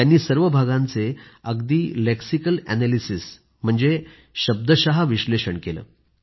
त्यांनी सर्व भागांचे विश्लेषण केलं आहे